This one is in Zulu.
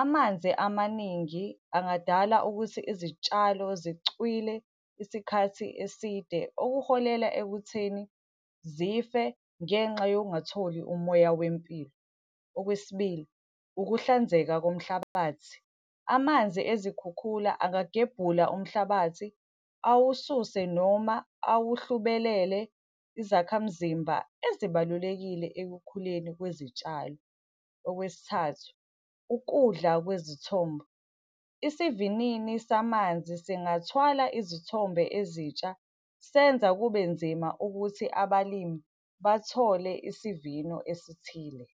Amanzi amaningi angadala ukuthi izitshalo zicwile isikhathi eside, okuholela ekutheni zife ngenxa yokungatholi umoya wempilo. Okwesibili, ukuhlanzeka komhlabathi. Amanzi ezikhukhula angagebhula umhlabathi, awususe noma awuhlubelele izakhamzimba ezibalulekile ekukhuleni kwezitshalo. Okwesithathu, ukudla kwezithombo. Isivinini samanzi singathwala izithombe ezitsha, senza kube nzima ukuthi abalimi bathole isivino esithile.